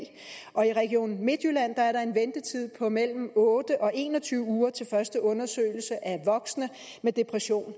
og i region midtjylland er der en ventetid på mellem otte og en og tyve uger til første undersøgelse af voksne med depression